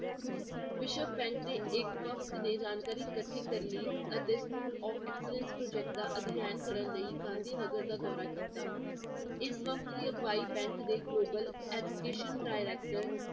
ਵਿਸ਼ਵ bank ਦੇ ਇੱਕ ਵਕਤ ਨੇ ਜਾਣਕਾਰੀ ਇਕੱਠੀ ਕਰਨੀ ਅਤੇ school of excellence project ਦਾ ਅਧਿਐਨ ਕਰਨ ਲਈ ਗਾਂਧੀਨਗਰ ਦਾ ਦੌਰਾ ਕੀਤਾ, ਇਸ ਵਕਤ ਦੀ ਅਗਵਾਈ bank ਦੇ global education director